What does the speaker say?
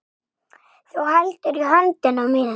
Þú heldur í höndina mína.